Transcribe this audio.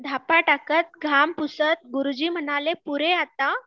धापा टाकत घाम पुसत गुरुजी म्हणाले पुरे आता